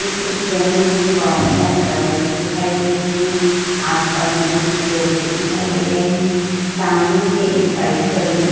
इस पिक्चर में मुझे बहोत सारी बसेज दिखाई दे रही हैं। आस-पास मुझे कुछ लोग भी दिखायी दे रहे हैं। सामने मुझे एक बाइक खड़ी हुई --